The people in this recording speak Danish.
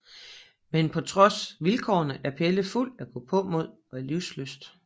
Men trods vilkårene er Pelle fuld af gåpåmod og livslyst